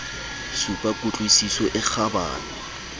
supa ku tlwisiso e kgabane